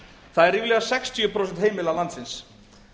það eru ríflega sextíu prósent heimila landsins